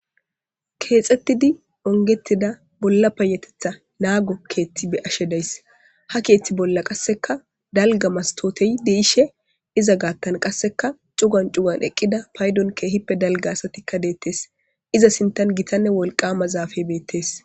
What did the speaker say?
Keexetidi ongettidda bolla payateththa nago keththi be'ashshe de'ayi ha keththa bolla qasekka dalgga mastottiy de'shshe iza gaththan cugan cugan eqidda payddon ke'ippe dalgga assattikka detees iza sintan gittanne wolqama zafey betees